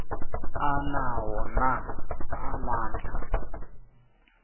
anawo na amandla